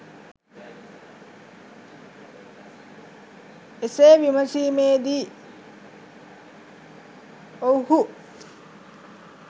එසේ විමසීමේ දී ඔවුහු